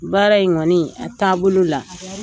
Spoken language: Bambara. Baara in kɔni a taabolo la.